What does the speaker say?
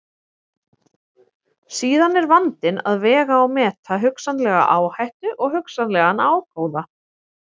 Síðan er vandinn að vega og meta hugsanlega áhættu og hugsanlegan ágóða.